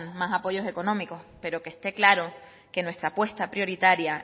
más apoyos económicos pero que esté claro que nuestra apuesta prioritaria